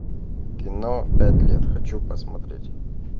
кино пять лет хочу посмотреть